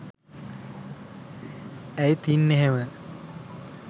ඇයි තින් එහෙම